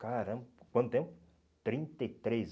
Caramba, quanto tempo? Trinta e três